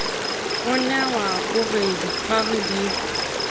ronewa o re ditlhware di